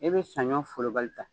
E be saɲɔ folobali ta